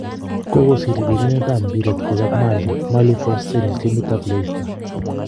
kogosir Birindet ap mbiret koyap Mali Mali Fousseni timit ap Leicester.